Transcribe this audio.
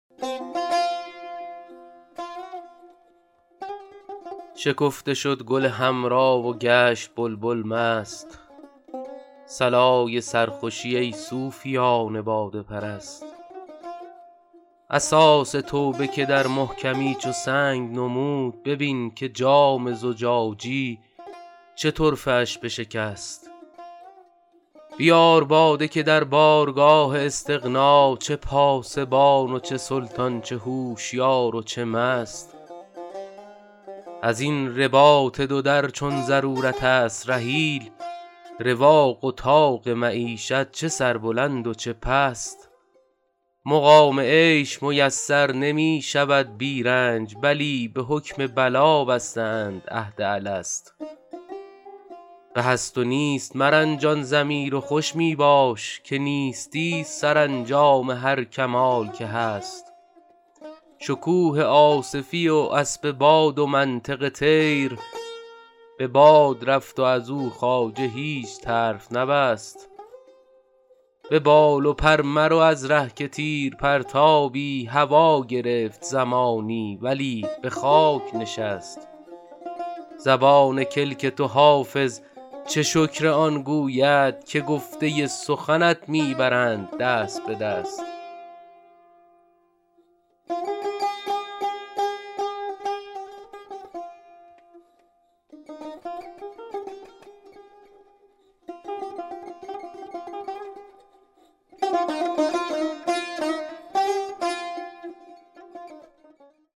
شکفته شد گل حمرا و گشت بلبل مست صلای سرخوشی ای صوفیان باده پرست اساس توبه که در محکمی چو سنگ نمود ببین که جام زجاجی چه طرفه اش بشکست بیار باده که در بارگاه استغنا چه پاسبان و چه سلطان چه هوشیار و چه مست از این رباط دو در چون ضرورت است رحیل رواق و طاق معیشت چه سربلند و چه پست مقام عیش میسر نمی شود بی رنج بلی به حکم بلا بسته اند عهد الست به هست و نیست مرنجان ضمیر و خوش می باش که نیستی ست سرانجام هر کمال که هست شکوه آصفی و اسب باد و منطق طیر به باد رفت و از او خواجه هیچ طرف نبست به بال و پر مرو از ره که تیر پرتابی هوا گرفت زمانی ولی به خاک نشست زبان کلک تو حافظ چه شکر آن گوید که گفته سخنت می برند دست به دست